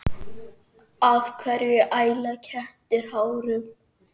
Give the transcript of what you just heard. Af hverju æla kettir hárum?